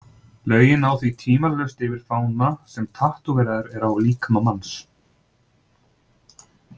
Lögin ná því tvímælalaust yfir fána sem tattóveraður er á líkama manns.